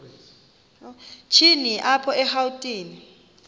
shini apho erawutini